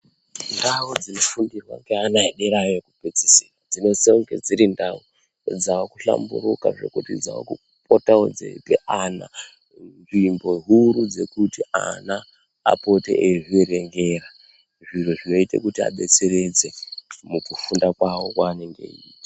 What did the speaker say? Ndau dzinofundirwa ngevana edera iyo ....yekupedzisira, dzinosisa kunge dziri ndau dzaakuhlamburuka, dzekuti dzaakupotawo dzeiti ana nzvimbo huru dzekuti ana apote eizvierengera, zviro zvinoite kuti azvidetseredze, mukufunda kwavo kwaanenge eiita.